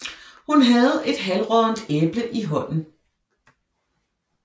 Hun havde et halvråddent æble i hånden